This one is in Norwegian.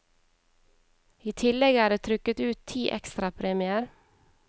I tillegg er det trukket ut ti ekstrapremier.